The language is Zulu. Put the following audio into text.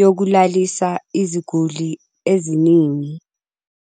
yokulalisa iziguli eziningi.